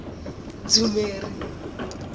dzumeri